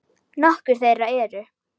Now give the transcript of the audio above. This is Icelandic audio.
Nokkur þeirra eru